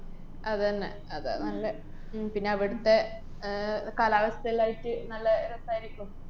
അതന്നെ, അതാ നല്ല ഉം പിന്നെ അവിടത്തെ ആഹ് കാലാവസ്ഥേല്ലായിട്ട് നല്ല രസായിരിക്കും.